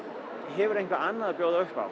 hefur eitthvað annað að bjóða upp á